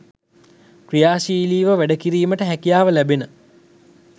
ක්‍රියාශීලීව වැඩ කිරීමට හැකියාව ලැඛෙන